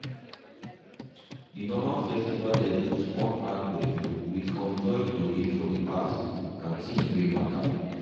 de normal festival levels con add gbedu with conjoined tory of the past and things wey mata.